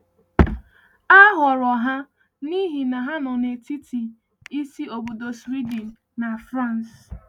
A họrọ ha n’ihi na ha nọ n’etiti isi obodo Sweden na France.